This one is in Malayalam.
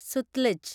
സൂത്ലേജ്